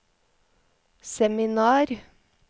seminar